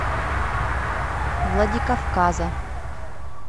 владикавказа